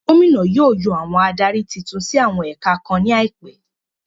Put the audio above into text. Gómìnà yóò yàn àwọn adarí titun sí àwọn ẹ̀ka kan ní àìpẹ